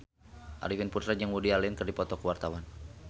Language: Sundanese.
Arifin Putra jeung Woody Allen keur dipoto ku wartawan